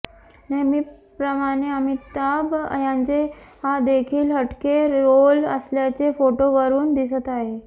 नेहमीप्रमाणे अमिताभ यांचा हा देखील हटके रोल असल्याचे फोटोवरून दिसत आहे